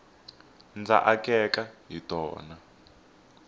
ndza akeka hi tona